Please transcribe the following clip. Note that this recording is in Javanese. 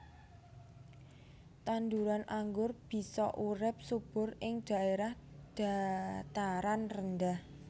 Tanduran anggur bisa urip subur ing dhaèrah dhataran rendah